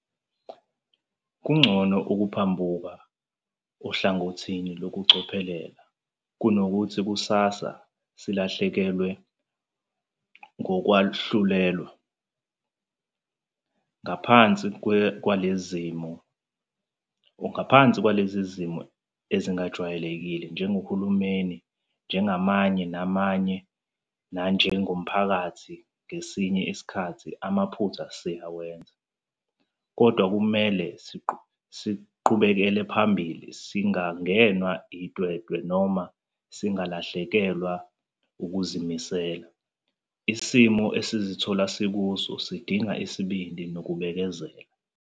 Kungcono ukuphambukela ohlangothini lokucophelela kunokuthi kusasa silahlekelwe ngokwahlulelwa. Ngaphansi kwalezi zimo ezi-ngajwayelekile, njengohulumeni, njengomunye nomunye nanjengomphakathi ngesinye isikhathi amaphutha sizowenza. Kodwa kumele siqhubekele phambili, singangenwa itwetwe noma singalahlekelwa ukuzimisela. Isimo esizithola sikuso sidinga isibindi nokubekezela.